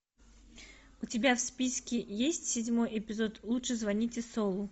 у тебя в списке есть седьмой эпизод лучше звоните солу